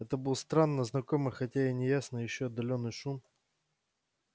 это был странно знакомый хотя и неясный ещё отдалённый шум